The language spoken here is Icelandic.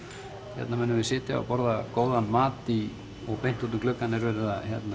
hérna munum við sitja og borða góðan mat beint út um gluggann er verið